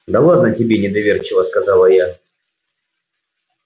да ладно тебе недоверчиво сказала я